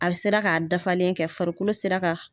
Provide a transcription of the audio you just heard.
A sera k'a dafalen kɛ farikolo sera ka.